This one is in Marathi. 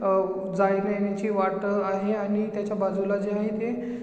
अह जायण्यायेण्याची वाट आहे आणि त्याच्या बाजूला जे आहे ते--